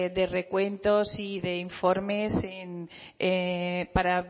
de recuentos y de informes para